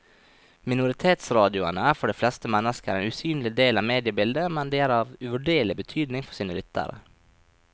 Minoritetsradioene er for de fleste mennesker en usynlig del av mediebildet, men de er av uvurderlig betydning for sine lyttere.